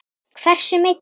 Hversu meiddur?